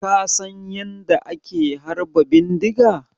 Ka San yanda ake harba bindiga?